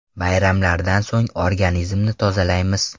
Bayramlardan so‘ng organizmni tozalaymiz.